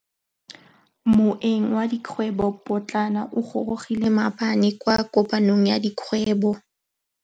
Moêng wa dikgwêbô pôtlana o gorogile maabane kwa kopanong ya dikgwêbô.